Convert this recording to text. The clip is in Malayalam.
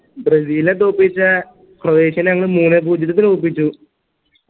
ബ്രസീനെ തോൽപിച്ച ക്രോയേഷ്യനങ് മൂന്നെ പൂജ്യത്തിന് തോൽപ്പിച്ചു